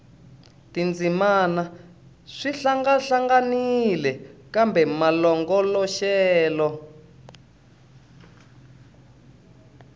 tindzimana swi hlangahlanganile kambe malongoloxelo